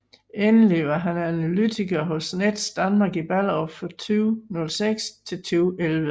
Endelig var han analytiker hos Nets Danmark i Ballerup fra 2006 til 2011